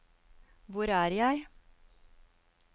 hvor er jeg